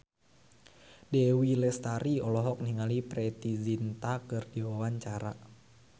Dewi Lestari olohok ningali Preity Zinta keur diwawancara